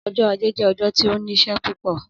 Ọjọ aje jẹ ọjọ ti o nšišẹ pupọ.